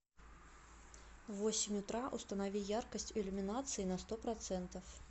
в восемь утра установи яркость иллюминации на сто процентов